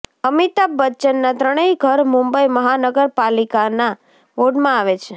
અમિતાભ બચ્ચનના ત્રણેય ઘર મુંબઈ મહાનગર પાલિકાના વોર્ડમાં આવે છે